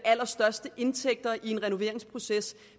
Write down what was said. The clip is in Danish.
allerstørste indtægter i en renoveringsproces